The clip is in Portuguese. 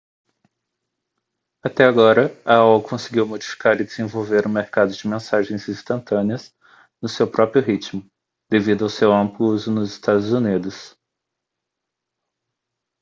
até agora a aol conseguiu modificar e desenvolver o mercado de mensagens instantâneas no seu próprio ritmo devido ao seu amplo uso nos estados unidos